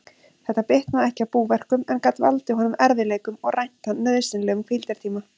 Þetta bitnaði ekki á búverkum, en gat valdið honum erfiðleikum og rænt hann nauðsynlegum hvíldartíma.